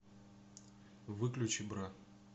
выключи бра